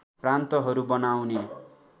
प्रान्तहरू बनाउने